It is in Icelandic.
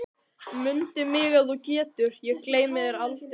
Mundu mig ef þú getur, ég gleymi þér aldrei